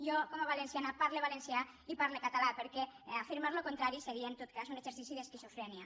jo com a valenciana parle valencià i parle català perquè afirmar el contrari seria en tot cas un exercici d’esquizofrènia